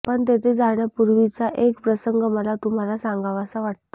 पण तेथे जाण्यापूर्वीचा एक प्रसंग मला तुम्हाला सांगावासा वाटतो